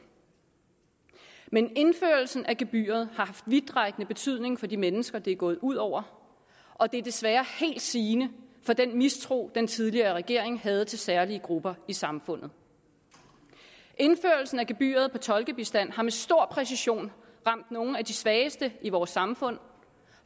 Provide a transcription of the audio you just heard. men indførelsen af gebyret har haft vidtrækkende betydning for de mennesker det er gået ud over og det er desværre helt sigende for den mistro den tidligere regering havde til særlige grupper i samfundet indførelsen af gebyret på tolkebistand har med stor præcision ramt nogle af de svageste i vores samfund